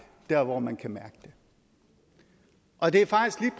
dér hvor man kan mærke det og det er